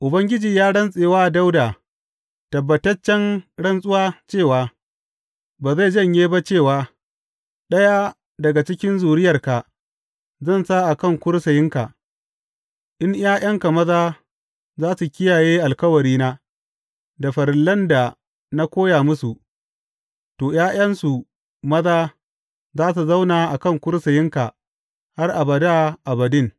Ubangiji ya rantse wa Dawuda tabbataccen rantsuwa cewa ba zai janye ba cewa, Ɗaya daga cikin zuriyarka zan sa a kan kursiyinka, in ’ya’yanka maza za su kiyaye alkawari da farillan da na koya musu, to ’ya’yansu maza za su zauna a kan kursiyinka har abada abadin.